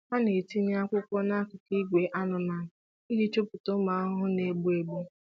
Ha na-etinye akwụkwọ nakụkụ ìgwè anụmanụ iji chọpụta ụmụ ahụhụ na-egbu egbu.